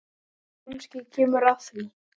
Kannski kemur að því.